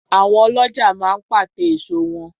Àwọn ọlọ́ja máa ń pàte èso wọn